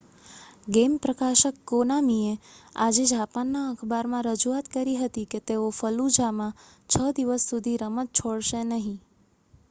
game પ્રકાશક કોનામીએ આજે જાપાનના અખબારમાં રજૂઆત કરી હતી કે તેઓ ફલ્લુજામાં છ દિવસ સુધી રમત છોડશે નહીં